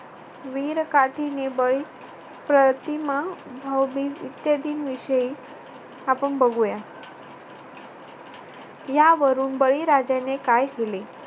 वीरकाठीने बळी प्रतिमा व्हावी इत्यादींविषयी आपण बघूया. यावरून बळी राजाने काय केले